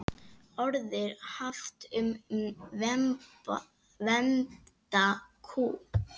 Orðið haft um vembda kú.